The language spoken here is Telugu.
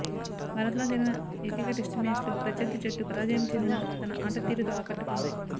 భారత్ తో జరిగిన ఏకైక టెస్టు మ్యాచ్లో ప్రత్యర్థి జట్టు పరాజయం చెందినా తన ఆట తీరుతో ఆకట్టుకుంది